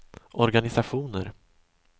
organisationer